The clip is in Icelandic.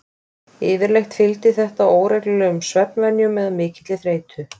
Yfirleitt fylgir þetta óreglulegum svefnvenjum eða mikilli þreytu.